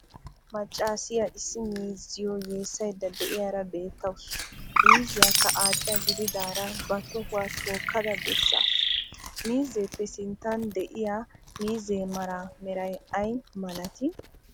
maccassiyo issi miiziyo yeessaydda de'iyaara beettawus. miiziyakka aada gididaara ba tohuwaa tookkada besaasu, miizeppe sinttan de'iyaa miizze mara meray ay malati?